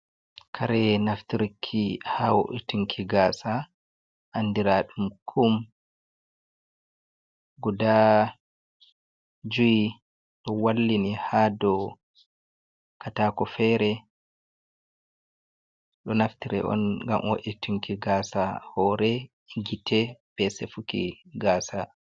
Kare, naftirki hao’e tunki gasa, andiradum kum guda juyi, do wallini ha do katako fere do naftireon, gamo’e tunki gasa hore, gite besefuki gasa.